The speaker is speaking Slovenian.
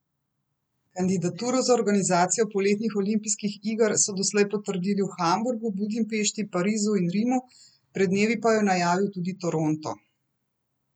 Kandidaturo za organizacijo poletnih olimpijskih igre so doslej potrdili v Hamburgu, Budimpešti, Parizu in Rimu, pred dnevi pa jo je najavil tudi Toronto.